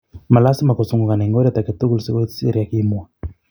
Malasima kosungukan eng oreet agetugul. sikoit Syria",kimwa.